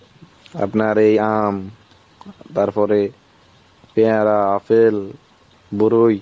আপনার এই আম তার পরে পেয়ারা, আপেল, দরুই